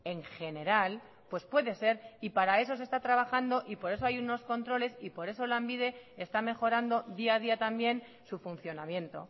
en general pues puede ser y para eso se está trabajando y por eso hay unos controles y por eso lanbide está mejorando día a día también su funcionamiento